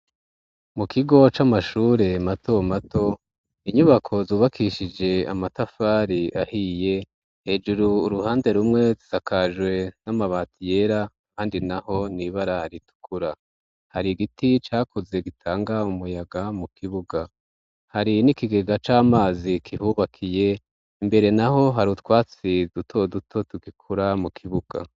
Mu kigo c'amashure mato mato ,inyubako zubakishije amatafari ahiye, hejuru uruhande rumwe rusakajwe n'amabati yera kandi naho nibara ritukura, hari giti cakuze gitanga umuyaga mu kibuga ,hari n'ikigega c'amazi kihubakiye, imbere naho hari utwatsi duto duto tugikura mu kibuga